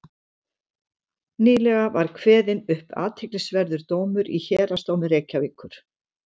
nýlega var kveðinn upp athyglisverður dómur í héraðsdómi reykjavíkur